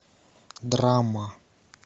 драма